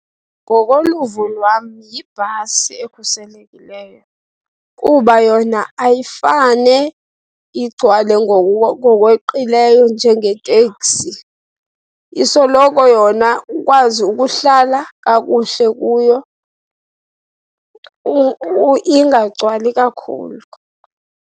Ngokoluvo lwam yibhasi ekhuselekileyo kuba yona ayifane igcwale ngokweqileyo njengeteksi. Isoloko yona ukwazi ukuhlala kakuhle kuyo ingagcwali kakhulu.